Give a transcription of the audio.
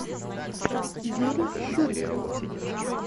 юрий щурик